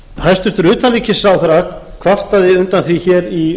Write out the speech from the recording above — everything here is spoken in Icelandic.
hæstvirts utanríkisráðherra kvartaði undan því hér í